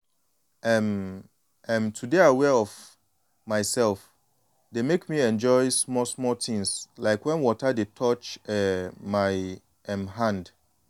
um um to dey aware of myself dey make me enjoy small-small things like when water dey touch um my um hand.